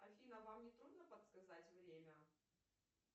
афина вам не трудно подсказать время